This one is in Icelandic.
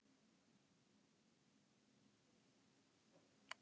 Anna: Og stefnir í met?